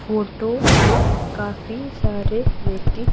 photo में काफी सारे व्यक्ति--